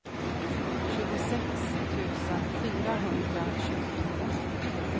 tjugosex tusen fyrahundratjugotvå